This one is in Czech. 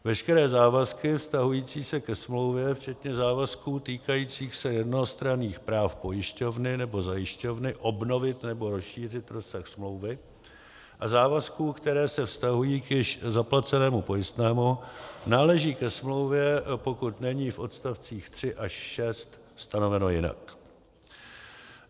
Veškeré závazky vztahující se ke smlouvě, včetně závazků týkajících se jednostranných práv pojišťovny nebo zajišťovny obnovit nebo rozšířit rozsah smlouvy a závazků, které se vztahují k již zaplacenému pojistnému, náleží ke smlouvě, pokud není v odstavcích 3 až 6 stanoveno jinak.